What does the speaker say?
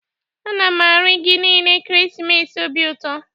A na m arị gị niile ekeresimesi obi ụtọ.